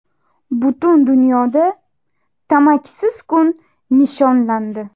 Butun dunyoda tamakisiz kun nishonlandi.